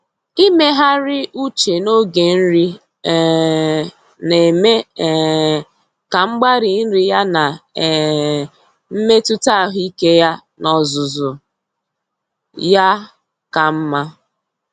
Ịmegharị uche n'oge nri um na-eme um ka mgbari nri ya na um mmetụta ahụike ya n'ozuzu ya ka mma.